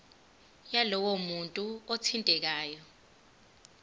yalowo muntu othintekayo